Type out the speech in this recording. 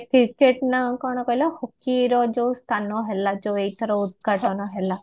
ନା କଣ କହିଲ ହକି ର ଯୋଉ ସ୍ଥାନ ହେଲା ଯୋଉ ଏଇଥର ଉଦ୍ଘାଟନ ହେଲା